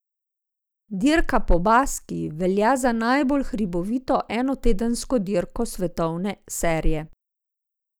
Dirka po Baskiji velja za najbolj hribovito enotedensko dirko svetovne serije.